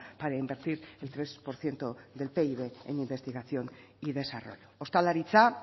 para invertir el tres por ciento del pib en investigación y desarrollo ostalaritza